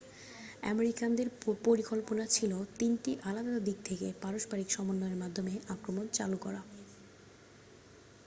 আমেরিকানদের পরিকল্পনা ছিল তিনটি আলাদা দিক থেকে পারস্পরিক সমন্বয়ের মাধ্যমে আক্রমণ চালু করা